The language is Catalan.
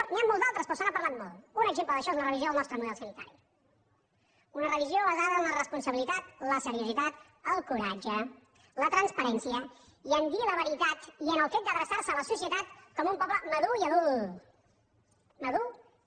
n’hi ha molts d’altres però se n’ha parlat molt un exemple d’això és la revisió del nostre model sanitari una revisió basada en la responsabilitat la seriositat el coratge la transparència i a dir la veritat i en el fet d’adreçar se a la societat com un poble madur i adult madur i adult